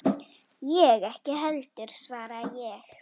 Ég ekki heldur, svaraði ég.